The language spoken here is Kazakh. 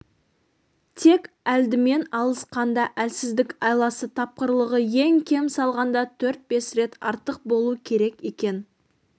тек әлдімен алысқанда әлсіздік айласы тапқырлығы ең кем салғанда төрт-бес рет артық болу керек екен